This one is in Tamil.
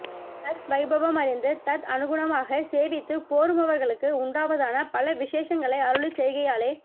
தத் வைபவம் அறிந்து தத் அனுகுணமாக சேவித்துப் போருமவர்களுக்கு உண்டாவதான பல விசேஷங்களை அருளிச் செய்கையாலே